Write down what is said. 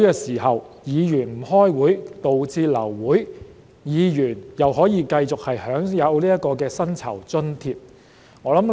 為何議員不出席會議導致流會時仍可繼續享有薪酬和津貼呢？